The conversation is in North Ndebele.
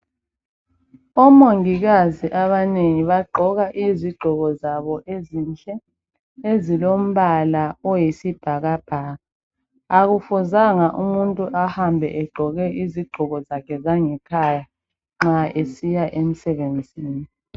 Omongikazi abanengi bagqoka izigqoko zabo ezinhle, ezilombala oyisibhakabhaka. Akufuzanga umuntu ahambe egqoke izigqoko zakhe zangekhaya nxa esiya emsebenzini.